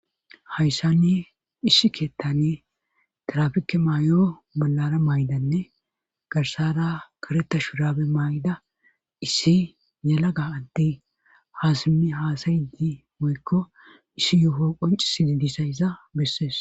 hayssani issi keettane trafike maay7o bollara maydanne garsara kareta shurabe may7da issi nalaga addi haasami haasayidi moykko issi yoho qonci sididisayza bessees